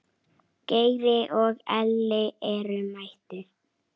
Geiri og Elli eru mættir.